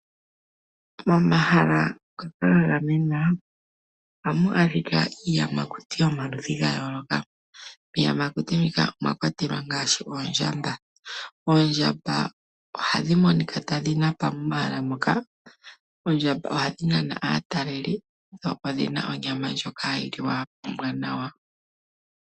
Momahala ngoka ga gamenwa oha mu adhika iiyamakuti yo maludhi ga yooloka, miiyamakuti mbika omwa kwatelwa ngaashi Oondjamba , Oondjamba oha dhi monika ta dhi napa momahala moka, Oondjamba oha dhi nana aataleli, dho odhi na onyama ndjoka ha yi liwa ombwanawa.